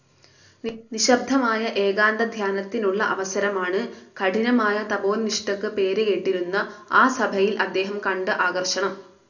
നിശബ്ദമായ ഏകാന്തധ്യാനത്തിനുള്ള അവസരമാണ് കഠിനമായ തപോനിഷ്ഠക്ക് പേരുകേട്ടിരുന്ന ആ സഭയിൽ അദ്ദേഹം കണ്ട ആകർഷണം.